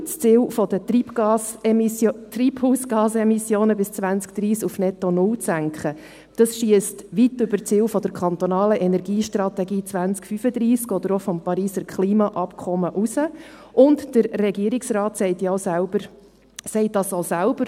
Das Ziel, die Treibhausgasemissionen bis 2030 auf netto null zu senken, dieses schiesst weit über das Ziel der kantonalen Energiestrategie 2035 oder auch des Pariser Klimaabkommens hinaus, und der Regierungsrat sagt das auch selbst.